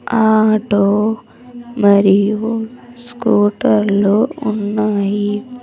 Auto మరియు స్కూటర్లు ఉన్నాయి.